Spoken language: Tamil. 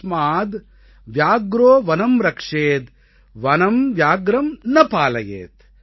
தஸ்மாத் வ்யாக்ரோ வனம் ரக்ஷேத் வனம் வ்யாக்ரம் ந பாலயேத்